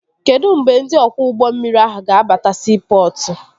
Kedụ mgbe ndị ọkwọ ụgbọ mmiri ahụ ga-abata siipọtụ?